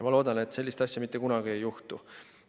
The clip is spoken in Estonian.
Loodan, et sellist asja mitte kunagi enam ei juhtu.